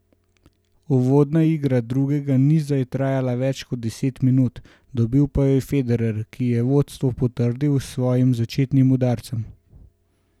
Uvodna igra drugega niza je trajala več kot deset minut, dobil pa jo Federer, ki je vodstvo potrdil s svojim začetnim udarcem.